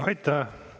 Aitäh!